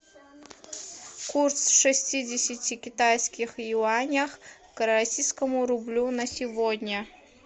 курс шестидесяти китайских юанях к российскому рублю на сегодня